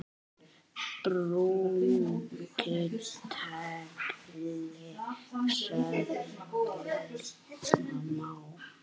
Brúnka tagli sveifla má.